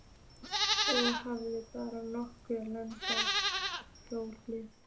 Og hafði bara nokkuð lagleg hljóð.